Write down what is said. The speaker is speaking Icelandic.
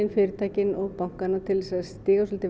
fyrirtækin og bankana til þess að stíga svolítið